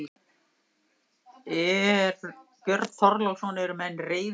Björn Þorláksson: Eru menn reiðir í dag?